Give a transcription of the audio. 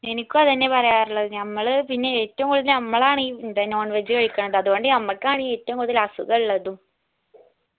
എനിക്ക് അത് തന്നെ പറയാറുള്ളത് നമ്മള് പിന്നെ ഏറ്റവും കൂടുതൽ നമ്മളാണീ എന്താ non veg കഴിക്കണ്ട് അത് കൊണ്ട് നമ്മക്കാണീ ഏറ്റവും കൂടുതൽ അസുഖം ഉള്ളതും